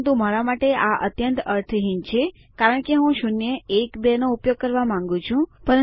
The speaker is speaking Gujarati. પરંતુ મારા માટે આ અત્યંત અર્થહીન છે કારણ કે હું શૂન્ય એક બે નો ઉપયોગ કરવા માંગું છું